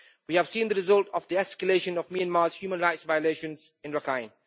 We have seen the result of the escalation of Myanmar's human rights violations in Rakhine.